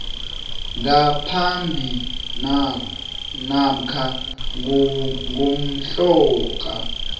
ngaphambi namkha ngomhlaka